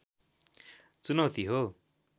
चुनौती हो